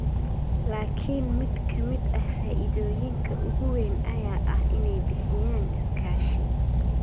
laakiin mid ka mid ah faa'iidooyinka ugu weyn ayaa ah inay bixiyaan iskaashi.